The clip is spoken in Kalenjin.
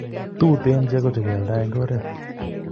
Tuten cheko che keyaldo en oret